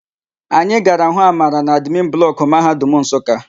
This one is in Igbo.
Anyị gara hụ Amara n'admin blọkụ Mahadum Nsụka.